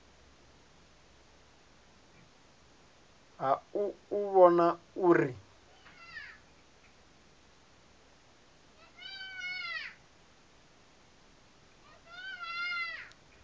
ha u u vhona uri